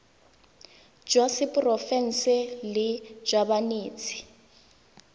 jwa seporofe enale jwa banetshi